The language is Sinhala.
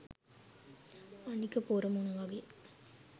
අනික පොර මොන වගේ